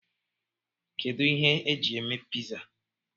Kedụ ihe eji eme piza?